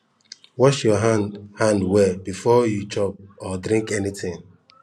wash your hand hand well before you chop or drink anything